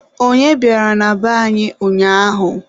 Onye bịara na be anyị ụnyaahụ?